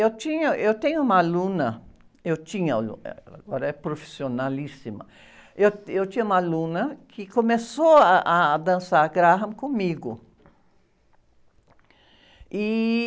Eu tinha, eu tenho uma aluna, eu tinha, agora é profissionalíssima, eu, eu tinha uma aluna que começou ah, a dançar Graham comigo. E...